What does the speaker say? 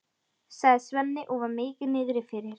sagði Svenni og var mikið niðri fyrir.